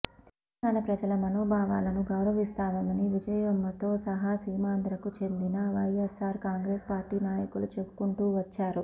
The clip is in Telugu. తెలంగాణ ప్రజల మనోభావాలను గౌరవిస్తామని విజయమ్మతో సహా సీమాంధ్రకు చెందిన వైయస్సార్ కాంగ్రెసు పార్టీ నాయకులు చెబుకుంటూ వచ్చారు